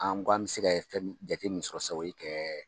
An ko an bɛ se ka fɛn min jate min sɔrɔ sisan o ye kɛ